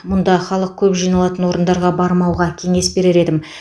мұнда халық көп жиналатын орындарға бармауға кеңес берер едім